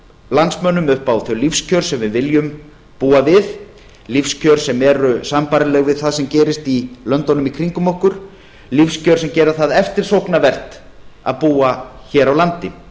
landsmönnum upp á þau lífskjör sem við viljum búa við lífskjör sem eru sambærileg við það sem gerist í löndunum í kringum okkur lífskjör sem gera það eftirsóknarvert að búa hér á landi